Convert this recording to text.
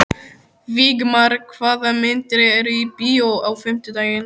Vígmar, hvaða myndir eru í bíó á fimmtudaginn?